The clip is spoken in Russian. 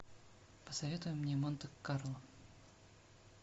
посоветуй мне монте карло